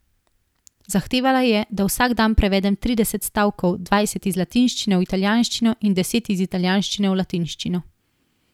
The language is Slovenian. Zahtevala je, da vsak dan prevedem trideset stavkov, dvajset iz latinščine v italijanščino in deset iz italijanščine v latinščino.